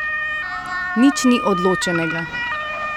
Nič ni odločenega.